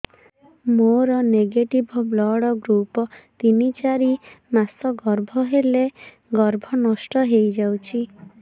ମୋର negative blood group ତିନ ଚାରି ମାସ ଗର୍ଭ ହେଲେ ଗର୍ଭ ନଷ୍ଟ ହେଇଯାଉଛି